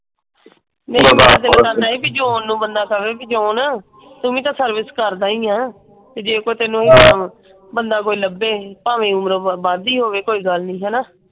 ਮੇਰਾ ਇਹ ਦਿਲ ਕਰਦਾ ਹੈ ਕਿ ਬੀ ਜੋ ਉਹਨੂੰ ਬੰਦਾ ਕਵੇਂ ਕਿ ਜੋ ਨਾ ਤੂੰ ਵੀ ਤਾਂ ਸਰਵਿਸ ਕਰਦਾ ਹੀ ਆ। ਤੇ ਜੇ ਤੇ ਜੇ ਆਪਾਂ ਤੈਨੂੰ ਬੰਦਾ ਕੋਈ ਲਭੇ ਭਾਵੇਂ ਉਮਰੋਂ ਵੱਧ ਹੀ ਹੋਵੇ ਕੋਈ ਗੱਲ ਨਹੀਂ। ਹੈਨਾ?